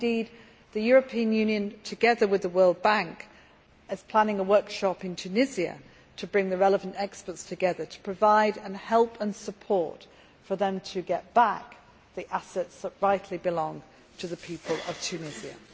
Indeed, the European Union, together with the World Bank, is planning a workshop in Tunisia bringing the relevant experts together to provide help and to support them in getting back the assets that rightly belong to the people of Tunisia.